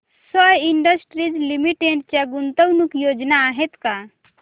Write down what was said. sky industries limited च्या गुंतवणूक योजना आहेत का